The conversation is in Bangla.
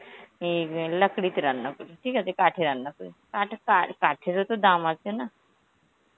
এই আঁ Hindi তে রান্না করি, ঠিক আছে কাঠে রান্না করি, কাঠে কার~ কাঠেরোতো দাম আছে না,